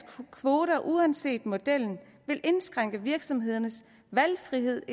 kvoter uanset modellen vil indskrænke virksomhedernes valgfrihed